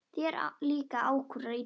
Þér líka ákúrur illa.